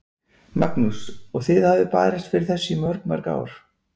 Magnús: Og þið hafið barist fyrir þessu í mörg, mörg ár?